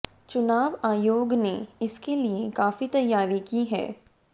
चुनाव आयोग ने इसके लिए काफी तैयारी की है